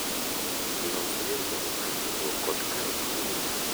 Los riurwok mar mogo kod karot moregi